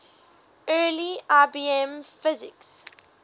early ibm pcs